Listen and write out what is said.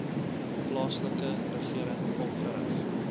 plaaslike regering opgerig